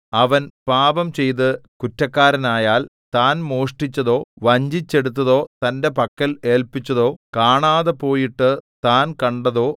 അവൻ പാപംചെയ്ത് കുറ്റക്കാരനായാൽ താൻ മോഷ്ടിച്ചതോ വഞ്ചിച്ചെടുത്തതോ തന്റെ പക്കൽ ഏല്പിച്ചതോ കാണാതെപോയിട്ടു താൻ കണ്ടതോ